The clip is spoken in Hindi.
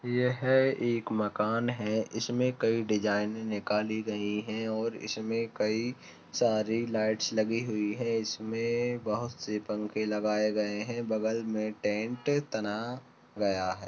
ये हे एक मकान है इसमें कई डिजाइने निकाली गई है और इसमें कई सारी लाइट्स लगी हुई है इसमे बहोत से पंखे लगाए गए है बगल मे टेंट तना गया है।